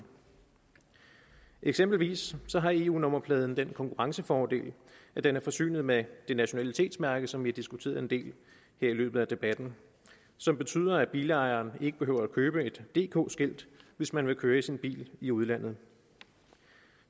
eksempelvis har eu nummerpladen den konkurrencefordel at den er forsynet med det nationalitetsmærke som vi diskuterede en del her i løbet af debatten og som betyder at bilejerne ikke behøver at købe et dk skilt hvis man vil køre i sin bil i udlandet